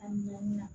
A minɛn na